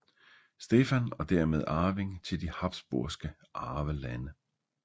Stefan og dermed arving til de Habsburgske Arvelande